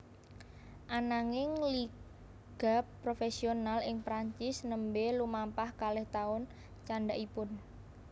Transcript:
Ananging liga profesional ing Prancis nembé lumampah kalih taun candhakipun